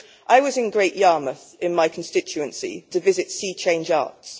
I was in Great Yarmouth, in my constituency, to visit Sea Change Arts.